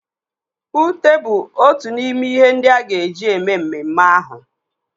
Ute bụ otu n'ime n'ihe ndị a ga-eji eme mmeme ahụ.